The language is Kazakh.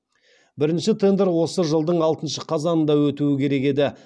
бірінші тендер осы жылдың алтыншы қазанында өтуі керек еді